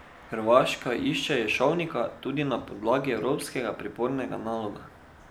Hrvaška išče Ješovnika tudi na podlagi evropskega pripornega naloga.